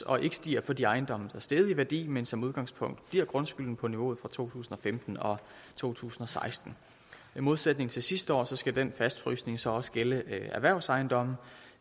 og ikke stiger for de ejendomme er steget i værdi men som udgangspunkt bliver grundskylden på niveauet fra to tusind og femten og to tusind og seksten i modsætning til sidste år skal den fastfrysning så også gælde erhvervsejendomme